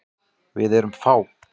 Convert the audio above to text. Við erum fá.